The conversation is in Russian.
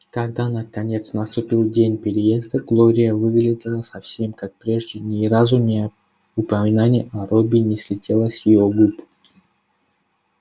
когда наконец наступил день переезда глория выглядела совсем как прежде ни разу не упоминание о робби не слетело с её губ